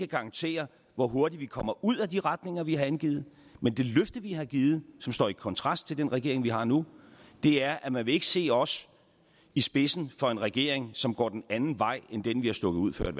garantere hvor hurtigt vi kommer ud ad de retninger vi har angivet men det løfte vi har givet og står i kontrast til den regering vi har nu er at man ikke vil se os i spidsen for en regering som går en anden vej end den vi har stukket ud før